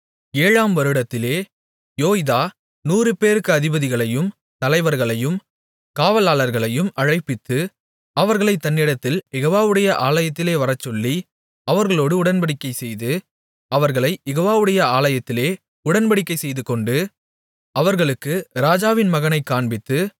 ஏழாம் வருடத்திலே யோய்தா நூறுபேருக்கு அதிபதிகளையும் தலைவர்களையும் காவலாளர்களையும் அழைப்பித்து அவர்களைத் தன்னிடத்தில் யெகோவாவுடைய ஆலயத்திலே வரச்சொல்லி அவர்களோடு உடன்படிக்கைசெய்து அவர்களைக் யெகோவாவுடைய ஆலயத்திலே உடன்படிக்கை செய்துகொண்டு அவர்களுக்கு ராஜாவின் மகனைக் காண்பித்து